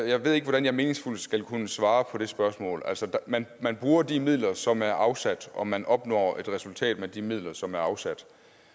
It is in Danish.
jeg ved ikke hvordan jeg meningsfuldt skal kunne svare på det spørgsmål man man bruger de midler som er afsat og man opnår et resultat med de midler som er afsat